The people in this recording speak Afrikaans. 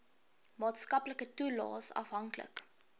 maatskaplike toelaes afhanklik